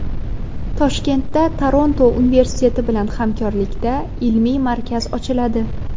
Toshkentda Toronto universiteti bilan hamkorlikda ilmiy markaz ochiladi.